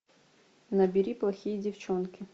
набери плохие девчонки